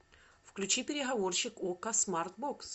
включи переговорщик окко смартбокс